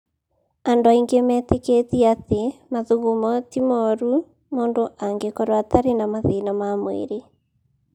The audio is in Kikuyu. "Andũ aingĩ metĩkĩtie atĩ mathugumo ti mũũru, mũndũ angĩkorũo atarĩ na mathĩna ma mwĩrĩ.